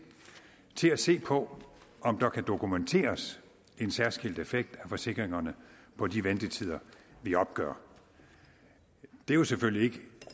til at se på om der kan dokumenteres en særskilt effekt af forsikringerne på de ventetider vi opgør det er jo selvfølgelig ikke